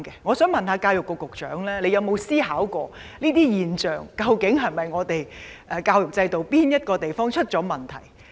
我想問，教育局局長有否想過，出現這類現象是否因為我們的教育制度出了問題？